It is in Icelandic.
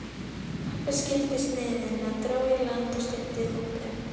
átt þú áreiðanlega eftir að spyrja sjálfa þig í framtíðinni.